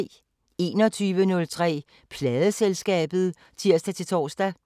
21:03: Pladeselskabet (tir-tor)